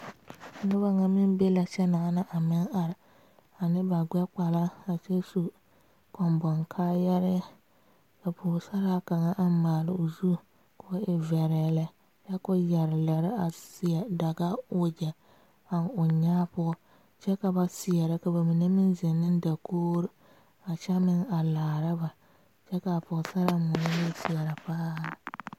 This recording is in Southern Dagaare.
Noba nyɛ meŋ be la kyɛ naana a are ne ba gbe kpala a su koboŋ kaayaare ka Pɔgesera kaŋa a maale o zu ko e vure lɛ kyɛ ko yeere lɛɛre a seɛ daga wagye a o nyaa poɔ kyɛ ka ba seɛrɛ ka ba mine meŋ zeŋ ne dakogri a kyɛ meŋ a laara ba kyɛ kaa Pɔgesera moɔ niŋe seɛre paa.